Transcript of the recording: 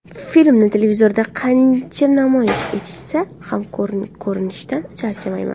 Filmni televizorda qancha namoyish etishsa ham ko‘rishdan charchamayman.